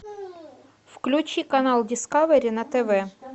включи канал дискавери на тв